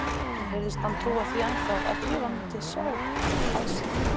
Mér heyrðist hann trúa því ennþá að Drífa mundi sjá að sér.